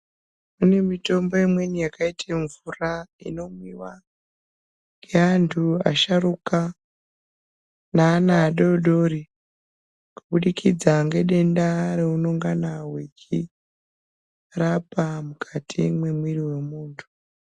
Kune mitombo imweni yakaite mvura inomwiwa, ngeantu asharuka neana adodori, kubudikidza ngedenda reunongana wechirapa mukati mwemwiri wemuntu.